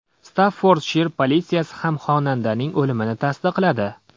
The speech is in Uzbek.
Staffordshir politsiyasi ham xonandaning o‘limini tasdiqladi.